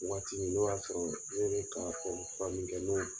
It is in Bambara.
Waati min n'o y'a sɔrɔɔ ee kaa bange kɛ ɲ'o don